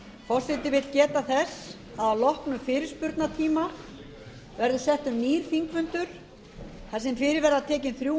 forseti vill geta þess að að loknum fyrirspurnatíma verður settur nýr þingfundur þar sem fyrir verða tekin þrjú